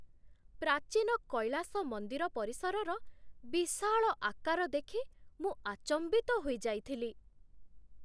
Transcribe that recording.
ପ୍ରାଚୀନ କୈଳାସ ମନ୍ଦିର ପରିସରର ବିଶାଳ ଆକାର ଦେଖି ମୁଁ ଆଚମ୍ବିତ ହୋଇଯାଇଥିଲି!